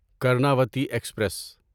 Karnavati express